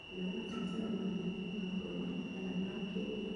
kana mabataro manene ma ngoro kana ma kĩĩmwĩrĩ.